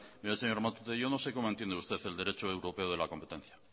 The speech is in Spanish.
mire señor matute yo no sé cómo entiende usted el derecho europeo de la competencia